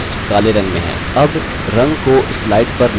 अब text काले रंग में है